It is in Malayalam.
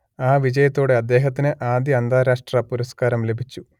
ആ വിജയത്തോടെ അദ്ദേഹത്തിന് ആദ്യ അന്താരാഷ്ട്ര പുരസ്കാരം ലഭിച്ചു